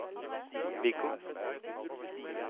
Wiggo